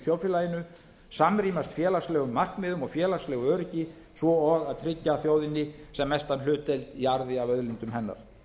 þjóðfélaginu samrýmast félagslegu markmiðum og félagslegu öryggi svo og að tryggja þjóðinni sem mesta hlutdeild í arði af auðlindum hennar